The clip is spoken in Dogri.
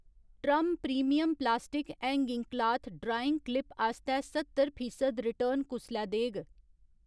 Term premium plastic hanging cloth drying clip आस्तै सत्तर फीसद रिटर्न कुसलै देग?